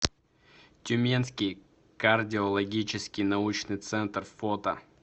тюменский кардиологический научный центр фото